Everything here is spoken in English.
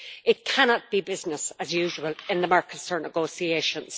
It cannot be business as usual in the Mercosur negotiations.